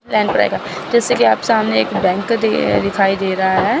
जैसा कि आप सामने एक बैंक दे दिखाई दे रहा है।